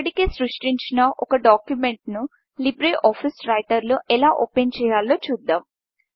ఇప్పటికే సృష్టించిన ఒక డాక్యుమెంట్ను లీబ్రే ఆఫీస్ రైటర్లో ఎలా ఓపెన్చేయాలో చూద్దాం